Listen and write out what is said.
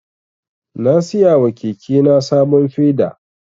Na siya wa keke na sabon feda.